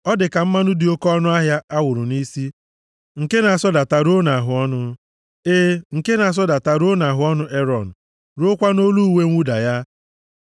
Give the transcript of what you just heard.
Ọ dị ka mmanụ dị oke ọnụahịa a wụrụ nʼisi, nke na-asọdata ruo nʼahụọnụ, e, nke na-asọdata ruo nʼahụọnụ Erọn, ruokwa nʼolu uwe mwụda ya.